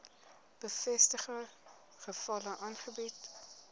bevestigde gevalle aangebied